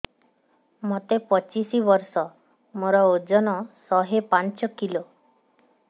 ମୋତେ ପଚିଶି ବର୍ଷ ମୋର ଓଜନ ଶହେ ପାଞ୍ଚ କିଲୋ